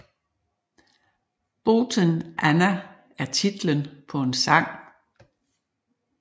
Boten Anna er titlen på en sang